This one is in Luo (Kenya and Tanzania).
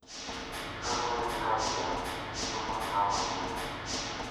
Kaluwore gi kabilani en yo ma ng`ama miyo,